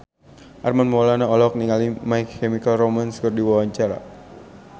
Armand Maulana olohok ningali My Chemical Romance keur diwawancara